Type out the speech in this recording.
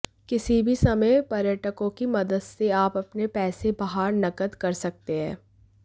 किसी भी समय पर्यटकों की मदद से आप अपने पैसे बाहर नकद कर सकते हैं